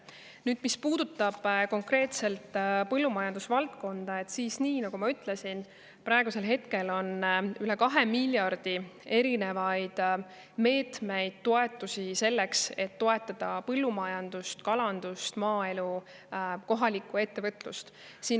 Nüüd, mis puudutab konkreetselt põllumajandusvaldkonda, siis nagu ma ütlesin, praegu on rohkem kui 2 miljardi ulatuses erinevaid meetmeid selleks, et toetada põllumajandust, kalandust, maaelu, kohalikku ettevõtlust.